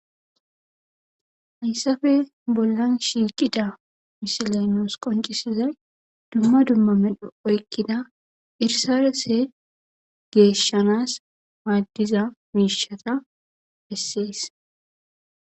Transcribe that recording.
Hayssafe bollan shiiqida misilaynoos qoncisizay dumma dummamedho oykkida irsarese geeshshanas maaddiza miishata bessees.